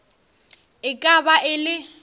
e ka ba e le